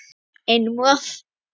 Einum of